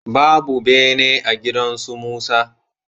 Babu bene a gidan su Musa.